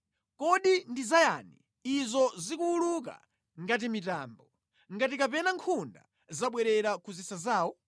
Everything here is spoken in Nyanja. “Kodi ndi zayani izo zikuwuluka ngati mitambo, ngati kapena nkhunda zobwerera ku zisa zawo?